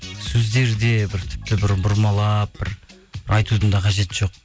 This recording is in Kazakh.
сөздері де бір тіпті бір бұрмалап бір айтудың да қажеті жоқ